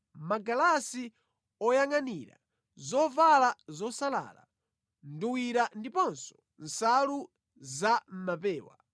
magalasi oyangʼanira, zovala zosalala, nduwira ndiponso nsalu za mʼmapewa.